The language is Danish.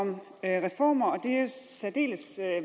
om reformer og det er særdeles